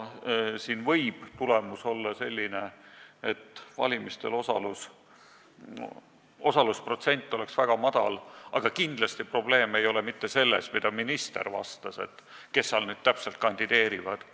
Siin võib tulemus olla selline, et valimistel osalemise protsent oleks väga madal, aga kindlasti ei ole probleem mitte selles, mida minister ütles, et kes seal siis täpselt kandideerivad.